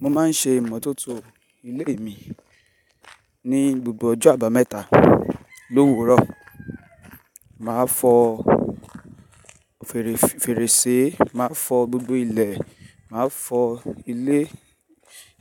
Mo máa ń ṣe ìmọ́tótó ilé mi ní gbogbo ọjọ́ àbámẹ́ta l'òwúrọ̀. Màá fọ fèrèsé, màá fọ gbogbo ilẹ̀, màá fọ ilé,